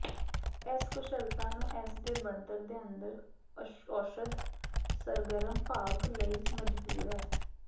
ਇਸ ਕੁਸ਼ਲਤਾ ਨੂੰ ਇਸ ਦੇ ਬਣਤਰ ਦੇ ਅੰਦਰ ਔਸ਼ਧ ਸਰਗਰਮ ਭਾਗ ਲਈ ਮਜਬੂਰ ਹੈ